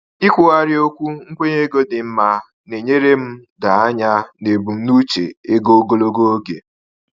Ikwugharị okwu nkwenye ego dị mma na-enyere m doo anya n’ebumnuche ego ogologo oge.